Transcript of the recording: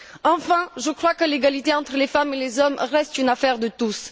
Enfin, je crois que l'égalité entre les femmes et les hommes reste une affaire de tous.